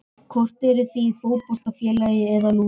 Hvort eruð þið í fótboltafélagi eða lúðrasveit?